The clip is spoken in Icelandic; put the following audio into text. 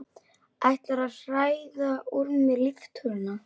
Ætlarðu að hræða úr mér líftóruna?